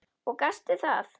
Og gastu það?